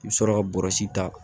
I bɛ sɔrɔ ka bɔrɛ ta